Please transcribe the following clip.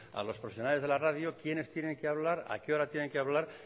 a los profesionales de la radio quiénes tienen que hablar a qué hora tienen que hablar